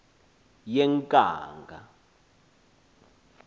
yenkanga